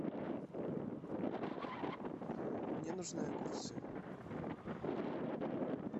мне нужны огурцы